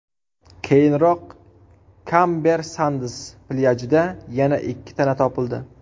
Keyinroq Kamber Sands plyajida yana ikki tana topildi.